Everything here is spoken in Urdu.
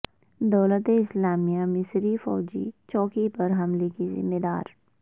دولت اسلامیہ مصری فوجی چوکی پر حملہ کی ذمہ دار